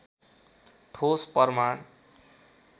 ठोस प्रमाण